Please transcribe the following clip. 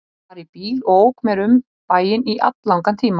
Hann var í bíl og ók mér um bæinn í alllangan tíma.